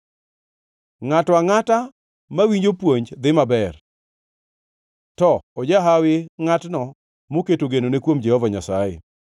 Ngʼato angʼata mawinjo puonj dhi maber, to ojahawi ngʼatno moketo genone kuom Jehova Nyasaye.